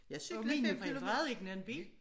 Og mine forældre ejede ikke en bil